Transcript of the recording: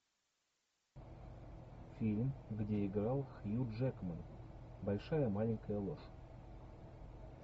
фильм где играл хью джекман большая маленькая ложь